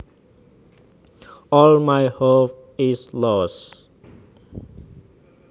All my hope is lost